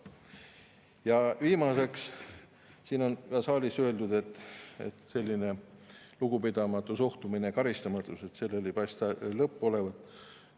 Ja viimaseks, siin saalis on öeldud, et sellel lugupidamatul suhtumisel ja karistamatusel ei paista lõppu olevat.